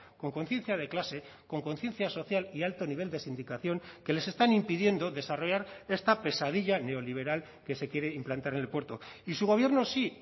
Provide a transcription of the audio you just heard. con conciencia de clase con conciencia social y alto nivel de sindicación que les están impidiendo desarrollar esta pesadilla neoliberal que se quiere implantar en el puerto y su gobierno sí